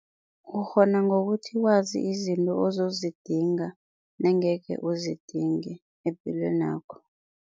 Ukghona ngokuthi wazi izinto ozidinga nengekhe uzidinge epilwenakho.